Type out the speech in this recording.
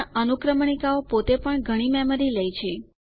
પણ અનુક્રમણીકાઓ પોતે પણ ઘણી મેમરી લે છે